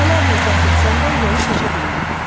Dəfələrlə cəhd etsəm də yolu keçə bilmədim.